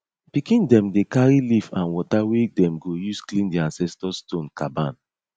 pikin dem dey carry leaf and water wey dem go use clean di ancestor stone caban